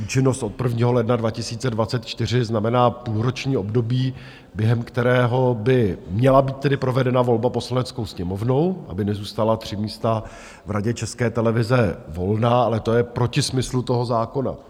Účinnost od 1. ledna 2024 znamená půlroční období, během kterého by měla být tedy provedena volba Poslaneckou sněmovnou, aby nezůstala 3 místa v Radě České televize volná, ale to je proti smyslu toho zákona.